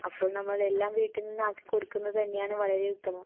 അപ്പോൾ നമ്മളെല്ലാം വീട്ടിൽ നിന്നാക്കി കൊടുക്കുന്നത് തന്നെയാണ് വളരെ ഉത്തമം.